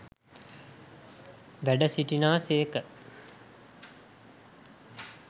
වැඩ සිටිනා සේක.